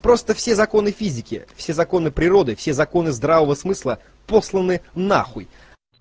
просто все законы физики все законы природы все законы здравого смысла посланы нахуй